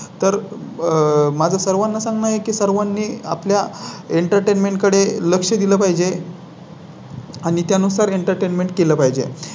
तर माझं सर्वांना सांगणं आहे की सर्वांनी आपल्या Entertainment कडे लक्ष दिलं पाहिजे. आणि त्यानुसार Entertainment केलं पाहिजे